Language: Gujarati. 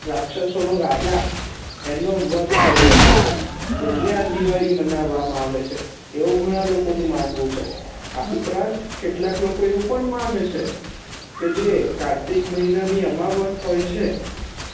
રાક્ષસો નો રાજા એમનો વધ કરિયો હતો એટલે આ દિવાળી મેનાવા મા આવે છે એવું ઘણા લોકો નુ માનવું છે આ ઉપરાંત કેટલાક લોકો એવુ પણ મને છે જે કારતક મહિના ની જે અમાવશ હોય છે